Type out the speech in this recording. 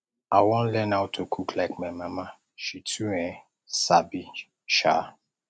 i wan learn how to cook like my mama she too um sabi um